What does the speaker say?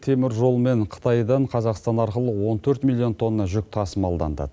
темір жолмен қытайдан қазақстан арқылы он төрт миллион тонна жүк тасымалданды